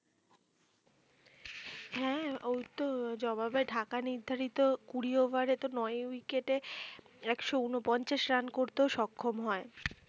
হ্যাঁ ওইতো জবাবে ঢাকা নির্ধারিত কুড়ি ওভারে তো নয় ইউকেটে একশো ঊনপঞ্চাশ রান করতেও সক্ষম হয়